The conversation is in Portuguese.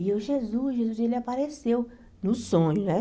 E eu, Jesus, Jesus, e ele apareceu no sonho, né?